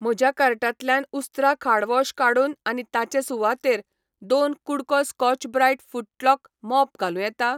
म्हज्या कार्टांतल्यान उस्त्रा खाड वॉश काडून आनी ताचे सुवातेर दोन कु़डको स्कॉच ब्राईट फुटलॉक मॉप घालूं येता?